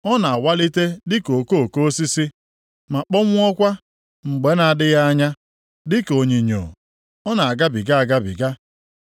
Ọ na-awalite dịka okoko osisi, ma kpọnwụọkwa mgbe na-adịghị anya, dịka onyinyo, ọ na-agabiga agabiga.